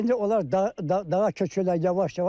İndi onlar dağa köçürlər yavaş-yavaş.